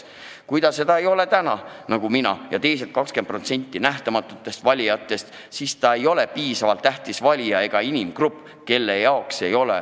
Kui ta seda ei ole suutnud, nagu mina ja teised 20% nähtamatutest valijatest, siis ta ei ole piisavalt tähtis valija.